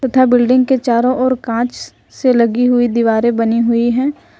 तथा बिल्डिंग के चारों ओर कांच से लगी हुई दीवारें बनी हुई है ।